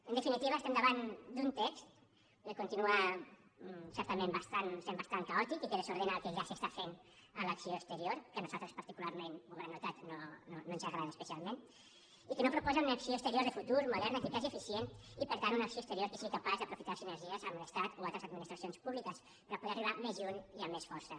en definitiva estem davant d’un text que continua certament sent bastant caòtic i que desordena el que ja s’està fent en l’acció exterior que a nosaltres particularment ho deuen haver notat no ens agrada especialment i que no proposa una acció exterior de futur moderna eficaç i eficient i per tant una acció exterior que sigui capaç d’aprofitar sinergies amb l’estat o altres administracions públiques per poder arribar més lluny i amb més força